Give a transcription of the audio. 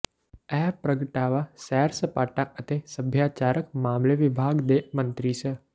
ਇਹ ਪ੍ਰਗਟਾਵਾ ਸੈਰ ਸਪਾਟਾ ਅਤੇ ਸੱਭਿਆਚਾਰਕ ਮਾਮਲੇ ਵਿਭਾਗ ਦੇ ਮੰਤਰੀ ਸ